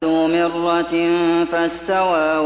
ذُو مِرَّةٍ فَاسْتَوَىٰ